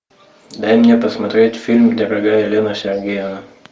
дай мне посмотреть фильм дорогая елена сергеевна